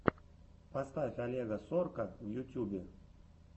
поставь олега сорка в ютюбе